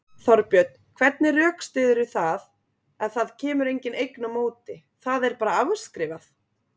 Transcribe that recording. Þorbjörn: Hvernig rökstyðurðu það ef það kemur engin eign á móti, það er bara afskrifað?